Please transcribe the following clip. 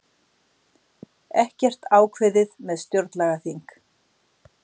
Ekkert ákveðið með stjórnlagaþing